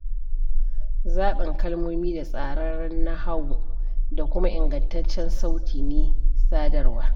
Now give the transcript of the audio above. Zaɓin kalmomi da tsararren nahawu da kuma ingantaccen sauti ne sadarwa.